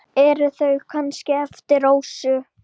Eru þau kannski eftir Rósu?